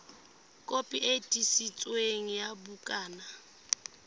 kopi e tiiseditsweng ya bukana